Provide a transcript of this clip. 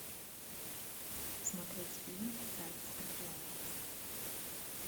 смотреть фильм царь скорпионов